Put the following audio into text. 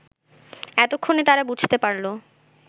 এতক্ষণে তারা বুঝতে পারল